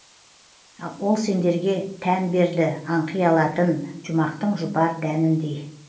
ол сендерге тән берді аңқи алатын жұмақтың жұпар дәніндей